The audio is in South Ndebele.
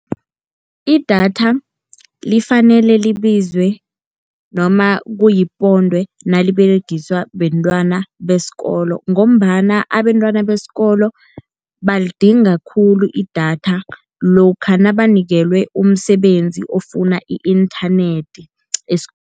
Idatha lifanele libize noma kuyiponde naliberegiswa bentwana besikolo, ngombana abentwana besikolo balidinga khulu idatha lokha nabanikelwe umsebenzi ofuna i-inthanethi